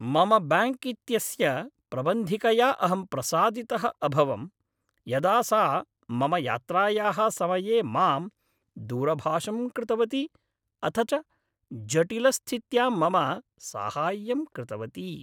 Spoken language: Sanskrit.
मम बैङ्क् इत्यस्य प्रबन्धिकया अहं प्रसादितः अभवं यदा सा मम यात्रायाः समये मां दूरभाषं कृतवती अथ च जटिलस्थित्यां मम साहाय्यं कृतवती।